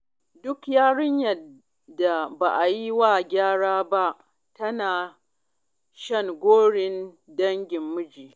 Duk yarinyar da ba a yi wa gara ba, tana shan gorin dangin miji